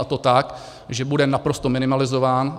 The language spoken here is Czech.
A to tak, že bude naprosto minimalizován.